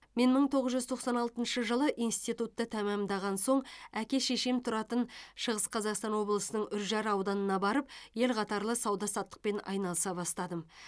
мен мың тоғыз жүз тоқсан алтыншы жылы институтты тәмамдаған соң әке шешем тұратын шығыс қазақстан облысының үржар ауданына барып ел қатарлы сауда саттықпен айналыса бастадым